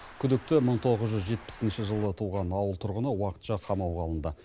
күдікті мың тоғыз жүз жетпісінші жылы туған ауыл тұрғыны уақытша қамауға алынды